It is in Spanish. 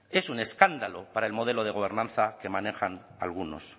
es un escándalo para el modelo de gobernanza que manejan algunos